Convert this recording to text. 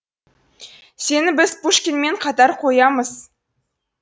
сені біз пушкинмен қатар қоямыз